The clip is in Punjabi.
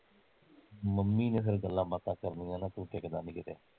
ਮੰਮੀ ਨੇ ਫਿਰ ਗੱਲਾਂ ਬਾਤਾਂ ਕਰਣੀਆ ਨਾ ਕੋਠੇ ਤੇ ਚੜ ਕੇ ਕਿਤੇ